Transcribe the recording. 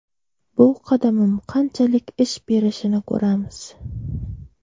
Bu qadamim qanchalik ish berishini ko‘ramiz.